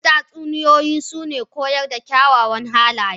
Wasu tatsuniyoyi suna koyar da kyawawan halaye.